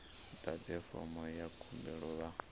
ḓadze fomo ya khumbelo vha